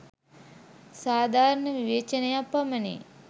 සාධාරණ විවේචනයක් පමණි.